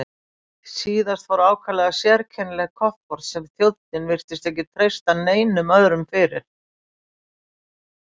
Síðast fór ákaflega sérkennilegt kofort sem þjónninn virtist ekki treysta neinum öðrum fyrir.